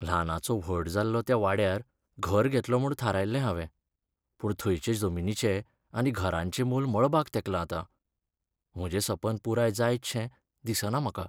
ल्हानाचों व्हड जाल्लों त्या वाड्यार घर घेतलों म्हूण थारायल्लें हावें, पूण थंयचे जमनीचें आनी घरांचें मोल मळबाक तेंकलां आतां. म्हजें सपन पुराय जायतशें दिसना म्हाका.